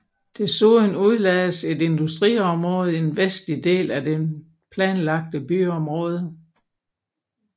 Desuden udlagdes et industriområde i den vestlige del af det planlagte byområde